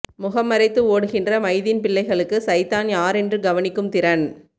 முகம் மறைத்து ஓடுகின்ற மைதீன் பிள்ளைகளுக்கு சைத்தான் யாரென்று கவனிக்கும் திறன்